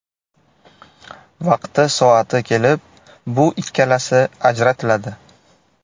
Vaqti-soati kelib, bu ikkalasi ajratiladi.